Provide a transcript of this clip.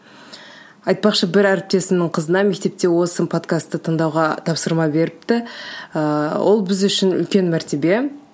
айтпақшы бір әріптесімнің қызына мектепте осы подкасты тыңдауға тапсырма беріпті ыыы ол біз үшін үлкен мәртебе